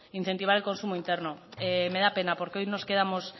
incentivar el consumo interno me da pena porque hoy nos quedamos